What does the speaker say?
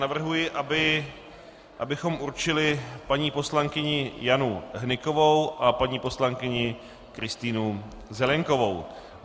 Navrhuji, abychom určili paní poslankyni Janu Hnykovou a paní poslankyni Kristýnu Zelienkovou.